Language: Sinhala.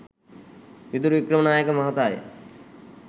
විදුර වික්‍රමනායක මහතාය